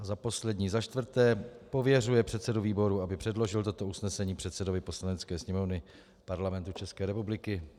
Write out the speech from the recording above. A za poslední, za čtvrté, pověřuje předsedu výboru, aby předložil toto usnesení předsedovi Poslanecké sněmovny Parlamentu České republiky.